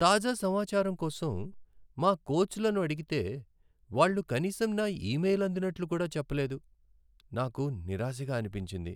తాజా సమాచారం కోసం మా కోచ్లను అడిగితే వాళ్ళు కనీసం నా ఈమెయిల్ అందినట్లు కూడా చెప్పలేదు, నాకు నిరాశగా అనిపించింది.